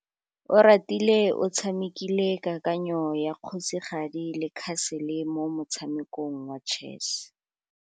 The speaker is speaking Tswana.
Oratile o tshamekile kananyô ya kgosigadi le khasêlê mo motshamekong wa chess.